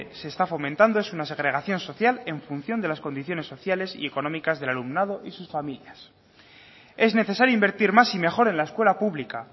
se está fomentando es una segregación social en función de las condiciones sociales económicas del alumnado y sus familias es necesario invertir más y mejor en la escuela pública